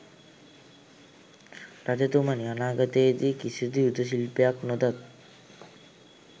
රජතුමනි, අනාගතයේ දී කිසිදු යුධ ශිල්පයක් නොදත්